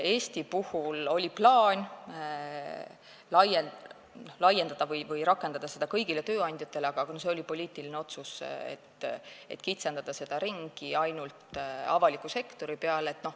Eestis oli plaan rakendada seda kõigi tööandjate suhtes, aga see oli poliitiline otsus, et kitsendada seda ainult avaliku sektori peale.